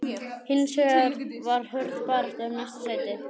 Hins vegar er hörð barátta um næstu sæti.